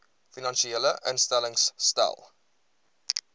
finansiële instellings stel